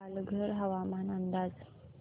पालघर हवामान अंदाज